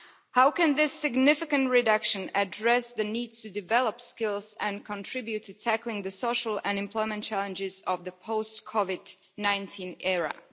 How can this significant reduction address the need to develop skills and contribute to tackling the social and employment challenges of the post COVID 19 era?